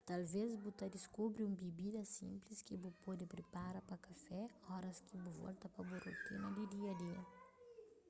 talves bu ta diskubri un bibida sinplis ki bu pode pripara pa kafé óras ki bu volta pa bu rutina di dia-a-dia